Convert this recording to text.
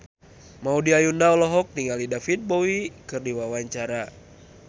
Maudy Ayunda olohok ningali David Bowie keur diwawancara